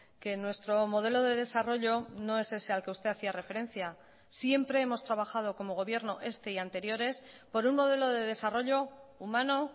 que nuestro modelo de desarrollo no es ese al que usted hacía referencia siempre hemos trabajado como gobierno este y anteriores por un modelo de desarrollo humano